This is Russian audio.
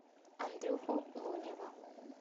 андрюху лунева